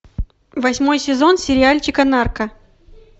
восьмой сезон сериальчика нарко